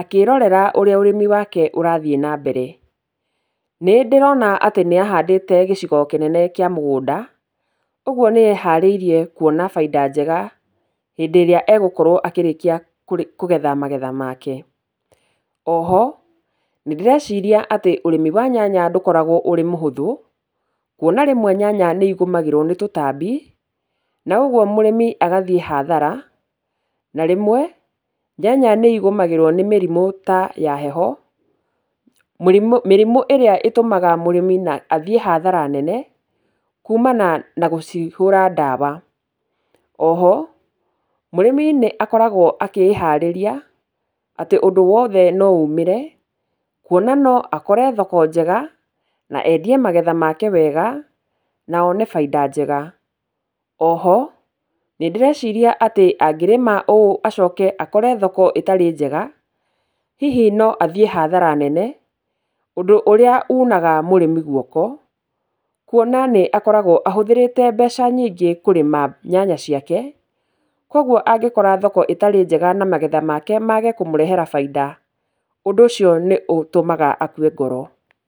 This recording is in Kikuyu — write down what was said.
akĩĩrorera ũrĩa ũrĩmi wake ũrathiĩ na mbere. Nĩ ndĩrona atĩ nĩ ahandĩte gĩcigo kĩnene kĩa mũgũnda, ũguo nĩ eharĩirie kwona baida njega hĩndĩ ĩrĩa egũkorwo akĩrĩkia kũgetha magetha make. Oho, nĩ ndĩreciria atĩ ũrĩmi wa nyanya ndũkoragwo ũrĩ mũhũthũ, kwona rĩmwe nyanya nĩ igũmagĩrwo nĩ tũtambi na ũguo mũrĩmi agathiĩ hathara, na rĩmwe nyanya nĩ igũmagĩrwo nĩ mĩrimũ ta ya heho, mĩrimũ ĩrĩa ĩtũmaga mũrĩmi na athiĩ hathara nene kumana na gũcihũra ndawa. Oho, mũrĩmi nĩ akoragwo akĩĩharĩria atĩ ũndũ wothe no umĩre, kwona no akore thoko njega na endie magetha make wega, na one baida njega. Oho, nĩ ndĩreciria atĩ angĩrĩma ũũ acoke akore thoko itarĩ njega, hihi no athiĩ hathara nene, ũndũ ũrĩa unaga mũrĩmi gwoko, kwona nĩ akoragwo ahũthĩrĩte mbeca nyingĩ kũrĩma nyanya ciake. Kogwo angĩkora thoko ĩtarĩ njega na magetha make mage kũmũrehera bainda, ũndũ ũcio nĩ ũtũmaga akue ngoro.